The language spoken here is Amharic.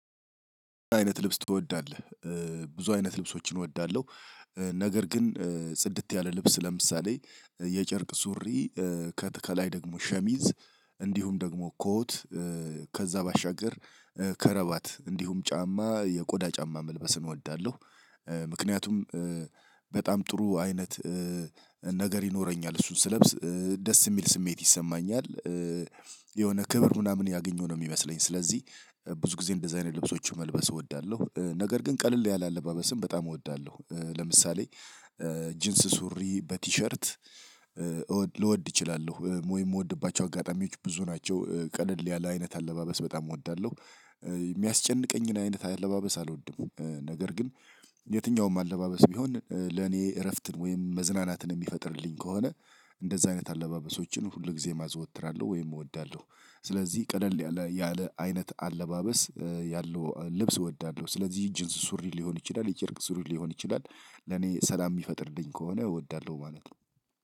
አይነት ልብስ ትወዳለህ? ብዙ አይነት ልብሶችን እወዳለሁ። ነገር ግን ጽድት ያለ ልብስ ለምሳሌ የጨርቅ ሱሪ ከላይ ደግሞ ሸሚዝ እንዲሁም ደግሞ ኮት ከዛ ባሻገር ከረባት እንዲሁም ጫማ የቆዳ ጫማ መልበስን እወዳለሁ። ምክንያቱም በጣም ጥሩ አይነት ነገር ይኖረኛል እሱን ስለብስ ደስ የሚል ስሜት ይሰማኛል። የሆነ ክብር ምናምን ያገኘው ነው የሚመስለኝ። ስለዚህ ብዙ ጊዜ እንደዚህ አይነት ልብሶችን መልበስ እወዳለሁ። ነገር ግን ቀልል ያለ አለባበስም በጣም እወዳለሁ። ለምሳሌ ጂንስ ሱሪ በቲሸርት ልወድ እችላለሁ ወይ የምወድባቸው አጋጣሚዎች ብዙ ናቸው ቀለል ያለ አይነት አለባበስ በጣም እወዳለሁ። የሚያስጨንቀኝን አይነት አለባበስ አልወድም። ነገር ግን የትኛውም አለባበስ ቢሆን ለኔ እረፍትን ወይም መዝናናትን የሚፈጥርልኝ ከሆነ እንደዛ አይነት አለባበሶችን ሁል ጊዜም አዘወትራለሁ ወይም እወዳለሁ። ስለዚህ ቀለል ያለ ያለ አይነት አለባበስ ያለው ልብስ እወዳለሁ። ስለዚህ እጅንስ ሱሪ ሊሆን ይችላል የጨርቅ ሱሪ ሊሆን ይችላል። ለኔ ሰላም የሚፈጥርልኝ ከሆነ እወዳለሁ ማለት ነው።